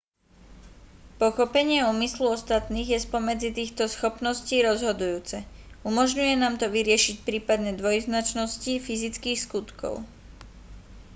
pochopenie úmyslu ostatných je spomedzi týchto schopností rozhodujúce umožňuje nám to vyriešiť prípadné dvojznačnosti fyzických skutkov